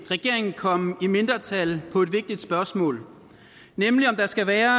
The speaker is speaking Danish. regeringen komme i mindretal på et vigtigt spørgsmål nemlig om der skal være